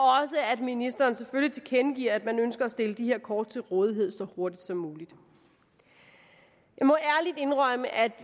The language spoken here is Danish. at ministeren selvfølgelig tilkendegiver at man ønsker at stille de her kort til rådighed så hurtigt som muligt jeg må ærligt indrømme at vi